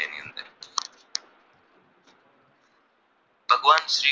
ભગવાન શ્રી